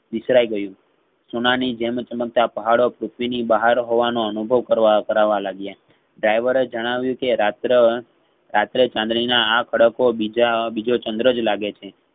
વિસરાય ગયું સુનામી જેમ ચમકતા પહાડો પૃથ્વીની બહાર હોવા નો અનુભવ કરવા કરાવા લાગ્યા driver એ જણાવ્યુકે રાત્રે~રાત્રે ચાંદનીના આખડકો બીજા બીજો ચન્દ્રજ લાગે છે.